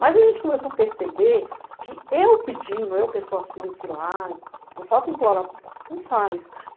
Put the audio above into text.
Mas a gente começou a perceber que eu pedindo, eu pessoa física lá, por falta de implorar, não faz.